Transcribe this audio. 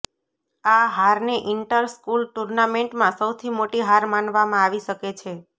આ હારને inter school ટૂર્નામેન્ટમાં સૌથી મોટી હાર માનવામાં આવી શકે છે